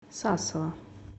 сасово